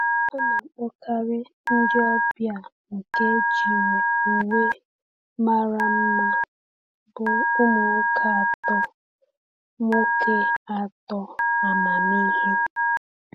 A na-akpọkarị ndị ọbịa nke ejiri uwe mara mma bụ ụmụ nwoke atọ nwoke atọ amamihe.